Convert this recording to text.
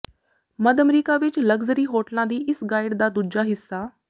ਮੱਧ America ਵਿਚ luxury ਹੋਟਲਾਂ ਦੀ ਇਸ ਗਾਈਡ ਦਾ ਦੂਜਾ ਹਿੱਸਾ